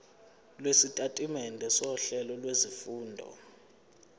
lwesitatimende sohlelo lwezifundo